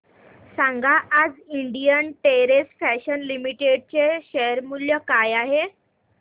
सांगा आज Indian terrain fashions limited चे शेअर मूल्य काय आहे